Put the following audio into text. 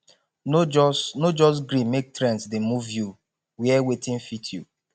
no just no just gree make trends dey move you wear wetin fit you